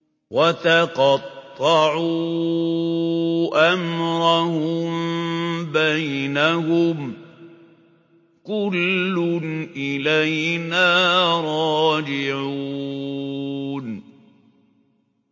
وَتَقَطَّعُوا أَمْرَهُم بَيْنَهُمْ ۖ كُلٌّ إِلَيْنَا رَاجِعُونَ